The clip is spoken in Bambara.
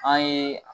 An ye